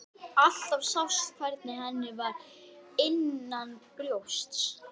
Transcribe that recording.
Erum við besta lið sögunnar?